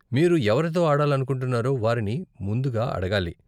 మీరు ఎవరితో ఆడాలనుకుంటున్నారో వారిని ముందుగా అడగాలి.